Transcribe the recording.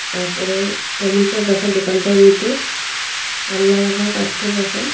তারপরে টমেটো রাখা দোকানটার মইধ্যে পাল্লা রাখা পাত্তর রাখা।